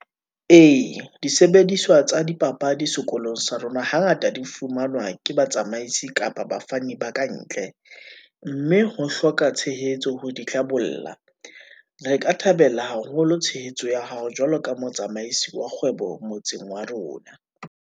Ee, disebediswa tsa dipapadi sekolong sa rona, hangata di fumanwa ke batsamaisi kapa bafani ba kantle , mme ho hloka tshehetso ho di tla bolla. Re ka thabela haholo tshehetso ya hao, jwalo ka motsamaisi wa kgwebo motseng wa rona.